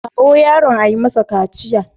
Kawo yaron a yi masa kaciya.